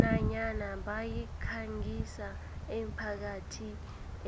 nanyana bayikhangisa emphakathini